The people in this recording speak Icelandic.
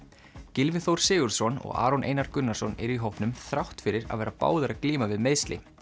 Gylfi Þór Sigurðsson og Aron Einar Gunnarsson eru í hópnum þrátt fyrir að vera báðir að glíma við meiðsli